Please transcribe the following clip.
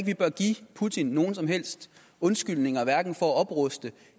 vi bør give putin nogen som helst undskyldninger hverken for at opruste